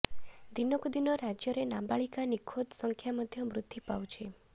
ଦିନକୁ ଦିନ ରାଜ୍ୟରେ ନାବାଳିକା ନିଖୋଜ ସଂଖ୍ୟା ମଧ୍ୟ ବୃଦ୍ଧି ପାଉଛି